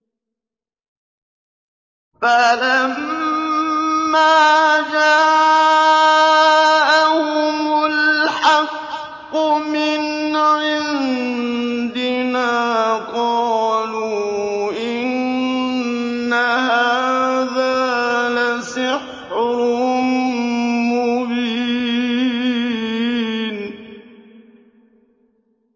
فَلَمَّا جَاءَهُمُ الْحَقُّ مِنْ عِندِنَا قَالُوا إِنَّ هَٰذَا لَسِحْرٌ مُّبِينٌ